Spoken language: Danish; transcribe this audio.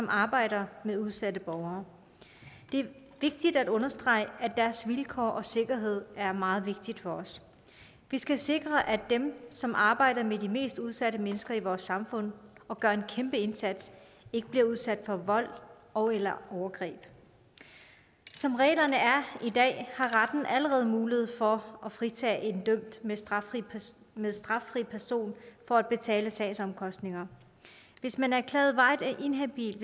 arbejder med udsatte borgere det er vigtigt at understrege at deres vilkår og sikkerhed er meget vigtigt for os vi skal sikre at dem som arbejder med de mest udsatte mennesker i vores samfund og gør en kæmpe indsats ikke bliver udsat for vold ogeller overgreb som reglerne er i dag har retten allerede mulighed for at fritage en dømt men straffri men straffri person for at betale sagsomkostninger hvis man er erklæret varigt inhabil